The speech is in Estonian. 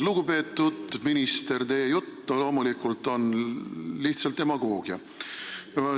Lugupeetud minister, teie jutt on loomulikult lihtsalt demagoogia.